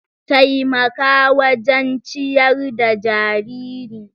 Taimaka wajen ciyar da jariri.